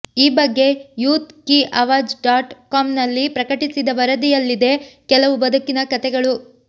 ಈ ಬಗ್ಗೆ Youth Ki Awaaz dot ಕಾಂನಲ್ಲಿ ಪ್ರಕಟಿಸಿದ ವರದಿ ಯಲ್ಲಿದೆ ಕೆಲವು ಬದುಕಿನ ಕತೆಗಳು